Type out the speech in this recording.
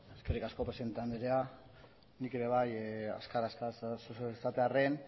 eskerrik asko presidente andrea nik ere bai azkar azkar zeozer esatearren